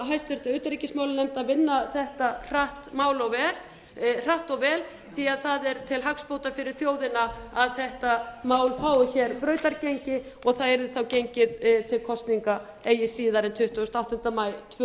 háttvirtri utanríkismálanefnd að vinna þetta mál hratt og vel því að það er til hagsbóta fyrir þjóðina að þetta mál fái hér brautargengi og það yrði þá gengið til kosninga eigi síðar en tuttugasta og áttunda maí tvö